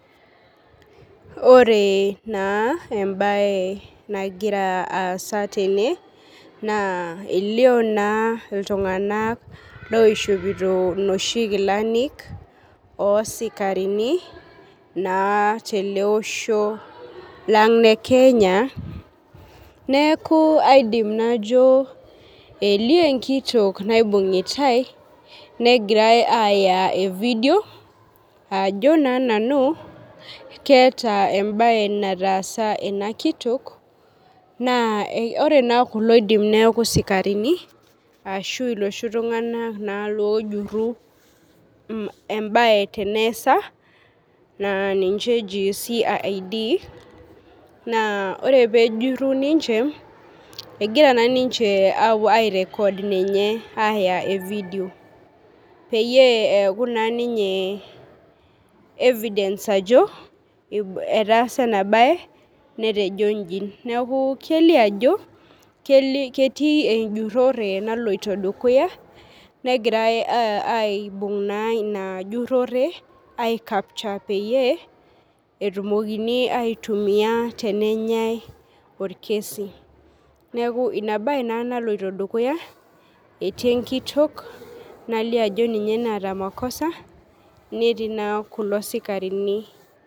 Ore na embae nagira aasa tene, na elion na ltung'anak oishopoto noshi kilani osikarini na teleosho lang' le kenya neaku aidim najo elio enkitok naibung'itae negirai aya evidieo ajo na nanu keeta embae nataasa enakitok na ore na kulo eidim neaku sikarini ashu loshi tung'anak ojuru embae teneasa na ninche eji cid na ore pejuri ninche egira na nince ai record ninye aya e video peyie eaku ninye evidence ajo etaasa enabae netoni nji neaku kelio ajo ketii enjurore naloito dukuya negirai aibung' inajurore aiyapisha peyie etumokini aitunia tenenyai orkesi neaku inababe na naloito dukuya etii enkitok nalio ajo ninye naata makosa netii na kulo sikarini.